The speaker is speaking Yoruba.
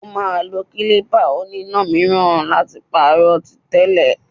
Ó máà ń lo klípà oníná míràn láti pàrọ̀ tí tẹ́lẹ̀.